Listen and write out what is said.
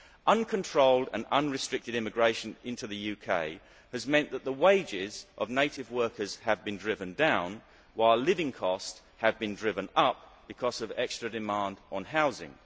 Uncontrolled and unrestricted immigration into the UK has meant that the wages of native workers have been driven down, while living costs have been driven up because of extra demand on housing.